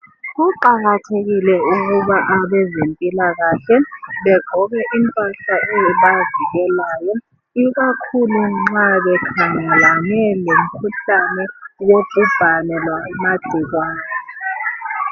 Kuqakathekile ukuba abezempilakahle begqoke impahla ezibavikelayo ikakhulu nxa bekhangelane lemkhuhlane yobhubhane yamagcikwane